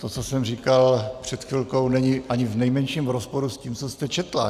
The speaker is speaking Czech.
To, co jsem říkal před chvilkou, není ani v nejmenším rozporu s tím, co jste četla.